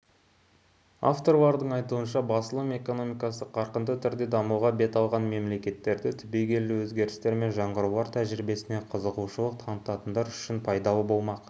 авторлардың айтуынша жаңа басылым экономикасы қарқынды түрде дамуға бет алған мемлекеттердегі түбегейлі өзгерістер мен жаңғырулар тәжірибесіне қызығушылық танытатындар үшін пайдалы болмақ